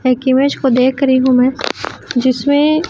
एक इमेज को देख रही हूं मैं जिसमें--